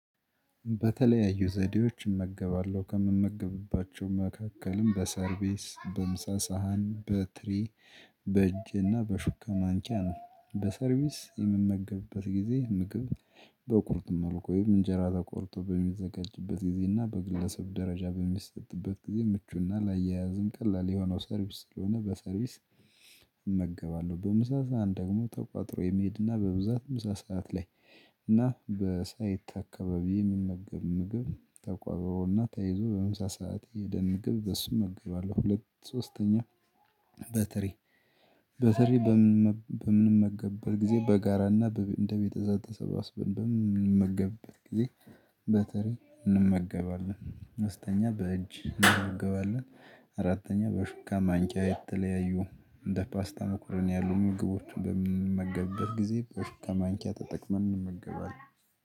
በተለያዩ ዘዴዎች እመገባለሁ ከምመገብባቸው መካከልም በሰርቪስ በምሳ ሳህን በትሪ በእጄ እና በሹካ ማንኪያ ነው በሰርቪስ የምመገብበት ጊዜ ምግብ በቁርጥ መልኩ ወይም እንጀራ ተቆርጦ በሚዘጋጅበት ጊዜ እና በግለሰብ ደረጃ በሚሰጥበት ጊዜ ምቹና ላያያዝም ቀላል የሆነው ሰርቪስ ስለሆነ በሰርቪስ እመገባለሁ በምሳ ሳህን ደግሞ ተቋጥሮ የመሄድና በብዛት ምሳ ሰዓት ላይ እና በሳይት አካባቢ የሚመገብ ምግብ ተቋጥሮና ተይዞ በምሳ ሰዓት የሄደን ምግብ በሱ እመግባለሁ። ሁለት ሶስተኛ በትሪ በትሪ በምንም መገብበት ጊዜ በጋራና እንደ ቤተሰብ ተሰባስበን በምንመገብበት ጊዜ በትሪ እንመገባለን አምስተኛ በእጅ እንመገባለን። አራተኛ በሹካ ማንቂያ የተለያዩ እንደ ፓስታ መኮረኒ ያሉ ምግቦች በምንመገበት ጊዜ በሹካ ማንኪያ ተጠቅመን እንመገባለን